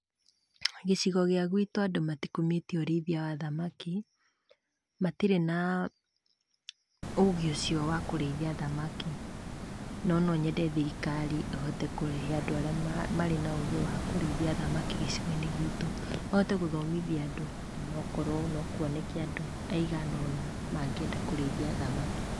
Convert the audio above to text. Gĩcigo gĩa gĩtũ andũ matikumĩtie ũrĩithia wa thamaki. Matirĩ na ũgĩ ũcio wa kũrĩthia thamaki. No nonyende thirikari ĩhote kũrehe andũ arĩa marĩ na ũgĩ wakũrĩithia thamaki gĩcigo-inĩ gitũ mahote gũthomithia andũ, nokorwo nokwoneke andũ maiganona mangĩenda kũrĩithia thamaki.